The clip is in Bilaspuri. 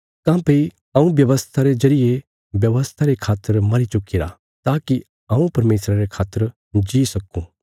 काँह्भई हऊँ व्यवस्था रे जरिये व्यवस्था रे खातर मरी चुक्कीरा ताकि हऊँ परमेशरा रे खातर जी सक्कूँ